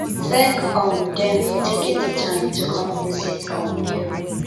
thank um them for taking their time to come visit um you